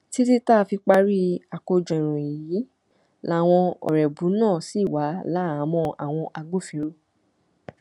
títí tá a fi parí àkójọ ìròyìn yìí làwọn ọrẹbù náà ṣì wà láhàámọ àwọn agbófinró